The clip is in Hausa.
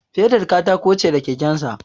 Fedar katako ce da kekensa